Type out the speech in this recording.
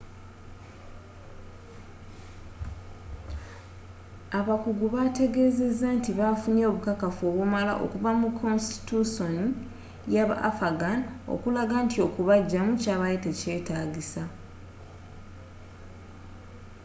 abakugu bateegezeza nti nti bafunye obukakafu obumala okuva mu konsitityusooni yabafaghan okulaga nti okubajjamu kyabadde tekyetaagisa